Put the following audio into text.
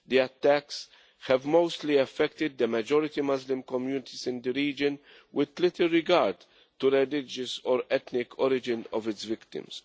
The attacks have mostly affected the majority Muslim communities in the region, with little regard to the religious or ethnic origin of its victims.